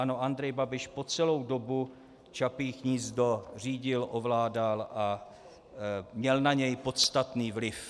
Ano, Andrej Babiš po celou dobu Čapí hnízdo řídil, ovládal a měl na něj podstatný vliv.